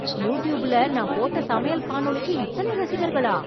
யூடூப்பில நான் போட்ட சமையல் காணொளிக்கு இத்தனை ரசிகர்களா?